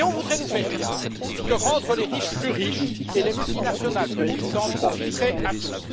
On voudrait nous faire croire que rendre les riches plus riches et les multinationales plus puissantes profiterait à tous.